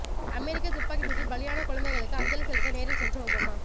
அமெரிக்க துப்பாக்கிச் சூட்டில் பலியான குழந்தைகளுக்கு அஞ்சலி செலுத்த நேரில் சென்ற ஒபாமா